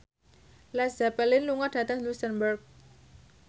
Led Zeppelin lunga dhateng luxemburg